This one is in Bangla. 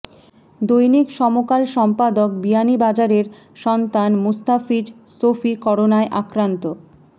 দৈনিক সমকাল সম্পাদক বিয়ানীবাজারের সন্তান মুস্তাফিজ শফি করোনায় আক্রান্ত